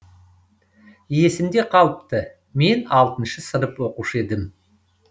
есімде қалыпты мен алтыншы сынып оқушы едім